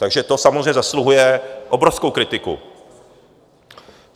Takže to samozřejmě zasluhuje obrovskou kritiku.